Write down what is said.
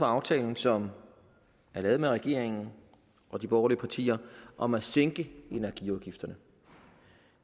aftale som er lavet med regeringen og de borgerlige partier om at sænke energiafgifterne